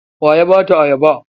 Wa ya ba ta ayaba?